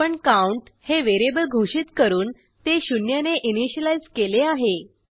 आपण काउंट हे व्हेरिएबल घोषित करून ते शून्यने इनिशियलाईज केले आहे